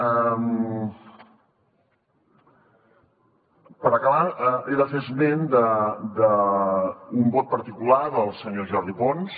per acabar he de fer esment d’un vot particular del senyor jordi pons